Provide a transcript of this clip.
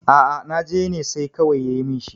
a a najene sai kawai ya yi min shi